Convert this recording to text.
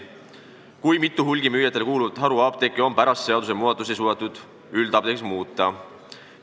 Kui mitu hulgimüüjatele kuuluvat haruapteeki on pärast seadusmuudatusi suudetud üldapteekideks muuta?